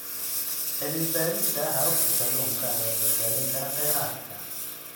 Cilmi baarista hababka kalluunka ayaa badbaadin kara kheyraadka.